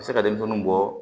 A bɛ se ka denmisɛnninw bɔ